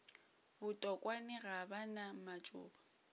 botokwane ga ba na matšoba